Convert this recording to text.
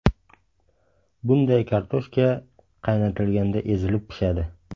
Bunday kartoshka qaynatilganda ezilib pishadi.